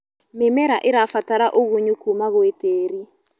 Mĩmera ĩrabatara ũgũnyũ kũma gwĩ tĩĩrĩ